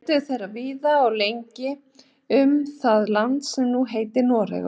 Leituðu þeir víða og lengi um það land sem nú heitir Noregur.